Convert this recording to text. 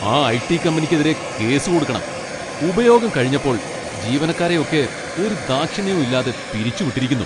ആ ഐ.ടി. കമ്പനിക്കെതിരെ കേസ് കൊടുക്കണം, ഉപയോഗം കഴിഞ്ഞപ്പോൾ ജീവനക്കാരെയൊക്കെ ഒരു ദാക്ഷിണ്യവും ഇല്ലാതെ പിരിച്ചുവിട്ടിരിക്കുന്നു.